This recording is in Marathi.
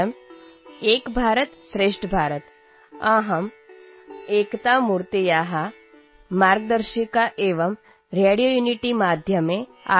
एम् एकभारतं श्रेष्ठभारतम् । अहम् एकतामूर्तेः मार्गदर्शिका एवं रेडियोयुनिटीमाध्यमे आर्